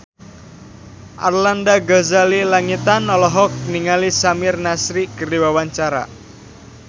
Arlanda Ghazali Langitan olohok ningali Samir Nasri keur diwawancara